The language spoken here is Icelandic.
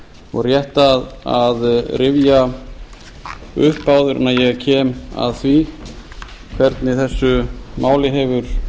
og rétt að rifja upp áður en ég kem að því hvernig þessu máli hefur